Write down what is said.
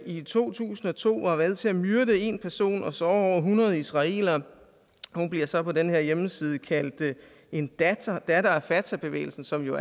i to tusind og to var med til at myrde en person og såre over hundrede israelere hun bliver så på den her hjemmeside kaldt en datter datter af fatahbevægelsen som jo